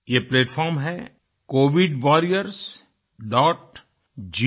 ये प्लैटफार्म है covidwarriorsgovin